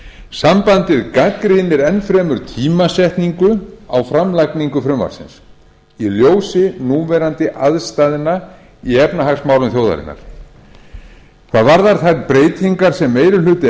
sambandið gagnrýnir enn fremur tímasetningu á framlagningu frumvarpsins í ljósi núverandi aðstæðna í efnahagsmálum þjóðarinnar hvað varðar þær breytingar sem meiri hluti